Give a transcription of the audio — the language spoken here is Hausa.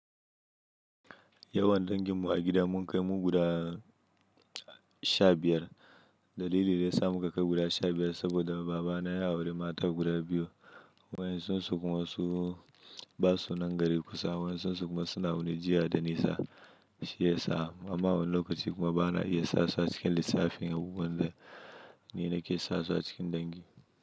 Yawan dangin mu a gida mun kai mu guda sha biyar. Dalili da ya sa muka kai guda sha biyar saboda baba na ya auri mata guda biyu. Wayan sun sukwan su basu nan gari kusa. Wayan sun sukwan suna wani jiha da nisa. Shi yasa amma wani lokaci kuma bana iya sasu a cikin lissafi yan uwana, ni na ke sasu a cikin dangi.